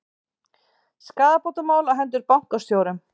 Skaðabótamál á hendur bankastjórum